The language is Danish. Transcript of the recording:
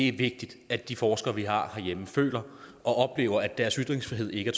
er vigtigt at de forskere vi har herhjemme føler og oplever at deres ytringsfrihed ikke